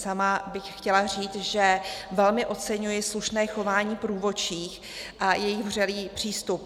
Sama bych chtěla říct, že velmi oceňuji slušné chování průvodčích a jejich vřelý přístup.